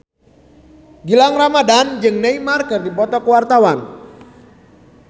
Gilang Ramadan jeung Neymar keur dipoto ku wartawan